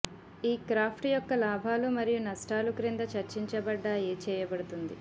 ఈ క్రాఫ్ట్ యొక్క లాభాలు మరియు నష్టాలు క్రింద చర్చించబడ్డాయి చేయబడుతుంది